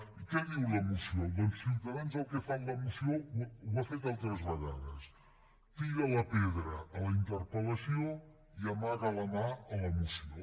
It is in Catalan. i què diu la moció doncs ciutadans el que fa amb la moció ho ha fet altres vegades tira la pedra a la interpel·lació i amaga la mà a la moció